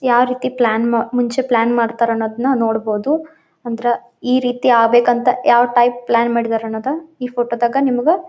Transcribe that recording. ಯಾವ ರೀತಿ ಪ್ಲಾನ್ ಮುಂಚೆ ಪ್ಲಾನ್ ಮಾಡ್ತರ್ ಅನ್ನೋದನ್ನ ನೋಡಬಹುದು ಅಂದರ ಈ ರೀತಿ ಆಗ್ಬೇಕ್ ಅಂತ ಯಾವ ಟೈಪ್ ಪ್ಲಾನ್ ಮಾಡಿದರೆ ಅನ್ನೋದನ್ ಈ ಫೋಟೋ ದಾಗ ನಿಮ್ಗ--